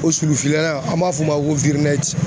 O sulu fiyɛlan an b'a f'o ma ko